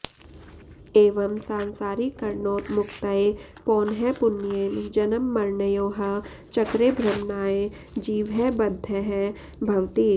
एवं सांसरिकर्णोत्मुक्त्यै पौनःपुन्येन जन्ममरणयोः चक्रे भ्रमणाय जीवः बद्धः भवति